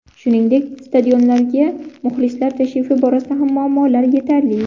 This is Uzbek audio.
Shuningdek, stadionlarga muxlislar tashrifi borasida ham muammolar yetarli.